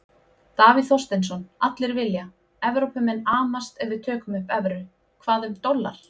Davíð Þorsteinsson: Allir vilja, Evrópumenn amast ef við tökum upp evru, hvað um dollar?